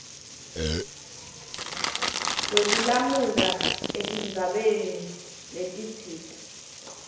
wekulamula etindzabeni letitsite